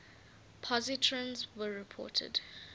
positrons were reported